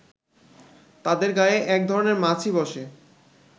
তাদের গায়ে একধরনের মাছি বসে